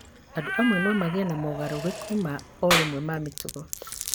andũ amwe no magĩe na mogarũrũku ma o rĩmwe ma mĩtugo